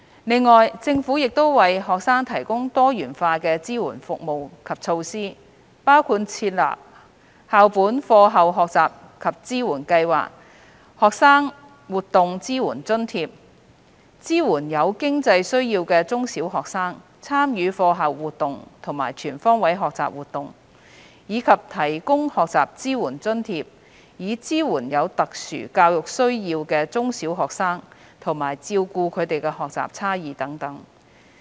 此外，政府亦為學生提供多元化的支援服務及措施，包括設立校本課後學習及支援計劃及學生活動支援津貼，支援有經濟需要的中小學生參與課後活動和全方位學習活動，以及提供學習支援津貼以支援有特殊教育需要的中小學生，照顧他們的學習差異等。